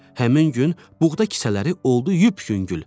Həmin gün buğda kisələri oldu yup-yüngül.